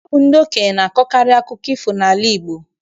Ọ bụ ndị okenye na-akọkarị akụkọ ifo n'ala Igbo.